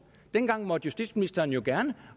dengang måtte justitsministeren jo